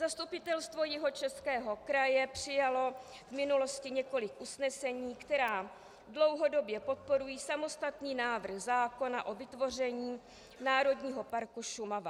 Zastupitelstvo Jihočeského kraje přijalo v minulosti několik usnesení, která dlouhodobě podporují samostatný návrh zákona o vytvoření Národního parku Šumava.